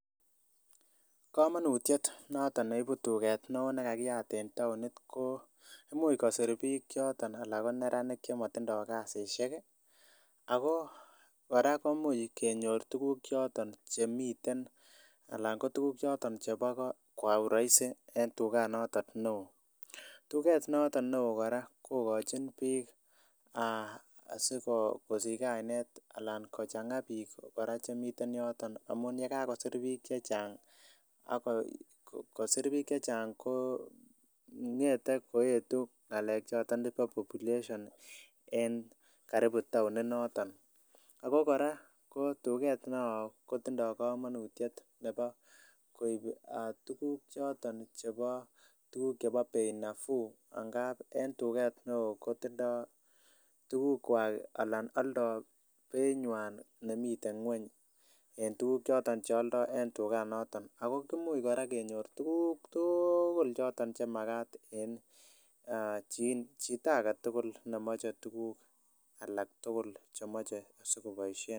Kamonutiet noto ne ibu tuget ne oo nekakiat en taonit koo imuch kosir biik choton anan koneranik chemotindo kasisiek ako kora komuch kenyor tukuk choton chemiten alan kotuk choton chebo kwa uraisi en tuganaton neo tuget noton ne oo kora kokochin biik aa asikosichi kainet alan kochang'a biik kora chemiten yoton amun yekakosir biik chechang ako sir biik chechang koo ng'ete koetu aa ng'alek choton chepo population en karibu taoni noton, ako kora tuget ne oo kotindoo komonutiet nepo koibu tukuk choton chepoo bei nafuu angap en tuget ne oo kotindoo tukukwak alan aldo bei nywan nemiten ngweny en tukuk choton chealdo en tuganaton ako kimuch kora kenyor tukuk tuugul choton chemakat en chito agetugul alak tugul chemoche sikoboisien.